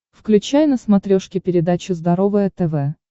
включай на смотрешке передачу здоровое тв